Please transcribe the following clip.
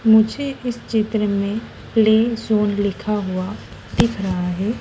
मुझे इस चित्र में प्ले जोन लिखा हुआ दिख रहा है।